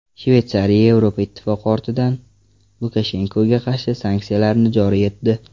Shveysariya Yevropa Ittifoqi ortidan Lukashenkoga qarshi sanksiyalarni joriy etdi.